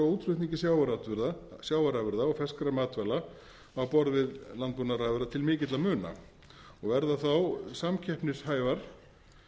á útflutningi sjávarafurða og ferskra matvæla á borð við landbúnaðarafurðir til mikilla muna sem verða samkeppnishæfar